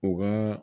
U ka